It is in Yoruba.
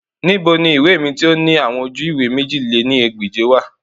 Nibo ni iwe mi ti o ni awọn oju-iwe mèjì lé ní ẹgbẹ́je wa?